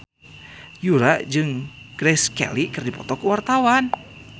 Yura jeung Grace Kelly keur dipoto ku wartawan